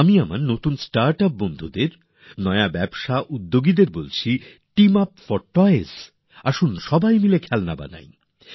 আমি আমার start up বন্ধুদের আমাদের নতুন উদ্যোগীদের বলছি টিম আপ ফর টয়স আসুন সবাই মিলে খেলনা তৈরী করি